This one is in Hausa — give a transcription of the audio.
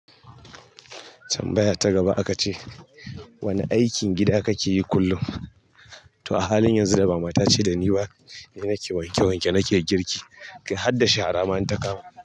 Tambaya ta gaba aka ce, wane aikin gida kake yi kullum? To a halin yanzu da mama ta ce dani ba, ni nake wanke wanke, nake girki, kai hadda shara ma in ta kama.